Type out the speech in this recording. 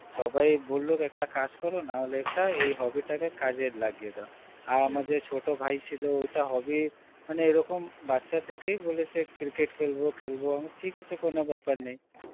সবাই বলল একটা কাজ করুন নহলে একটা এই hobby তাকে কাজ এ লাগিয়ে দাও আর যে ছোটো ভাই ছিল ঐটা hobby মানে এই রকম বাচ্চা থেকেই বলেছে, cricket খেলব খেলব আমি বললাম, ঠিক আছে কোনো বেপার নেই